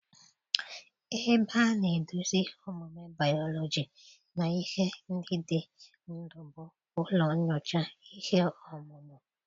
Ebe a na-eduzi ihe omume bayoloji na ihe ndị dị ndụ bụ ụlọ nyocha ihe ọmụmụ